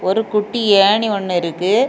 ஒரு குட்டி ஏணி ஒன்னு இருக்கு.